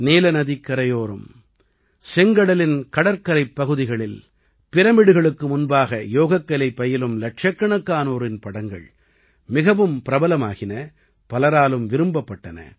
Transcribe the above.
நீலநதிக்கரையோரம் செங்கடலின் கடற்கரைப் பகுதிகளில் பிரமிடுகளுக்கு முன்பாக யோகக்கலை பயிலும் இலட்சக்கணக்கானோரின் படங்கள் மிகவும் பிரபலமாகின பலராலும் விரும்பப்பட்டன